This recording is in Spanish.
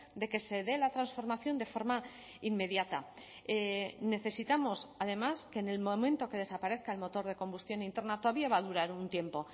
de que se dé la transformación de forma inmediata necesitamos además que en el momento que desaparezca el motor de combustión interna todavía va a durar un tiempo